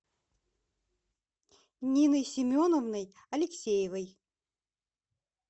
ниной семеновной алексеевой